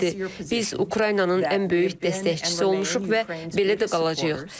Biz Ukraynanın ən böyük dəstəkçisi olmuşuq və belə də qalacağıq.